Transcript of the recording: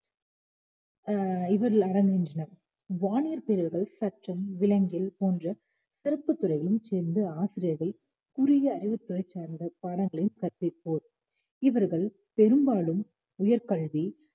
அஹ் இதில் அடங்குகின்றன. வானியற்பியல் சட்டம் விலங்கியல் போன்ற சிறப்புத் துறைகளைச் சேர்ந்த ஆசிரியர்கள் குறுகிய அறிவுத்துறை சார்ந்த பாடங்களையும் கற்பிப்போம் இவர்கள் பெரும்பாலும் உயர் கல்வி